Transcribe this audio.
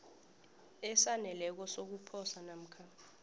esaneleko sokuposa namkha